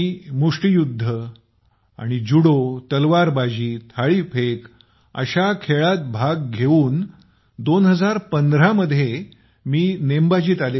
मुष्टीयुद्ध आणि जुडो तलवारबाजी थाळीफेक अशा खेळातही भाग घेऊन 2015 मध्ये नेमबाजीत आले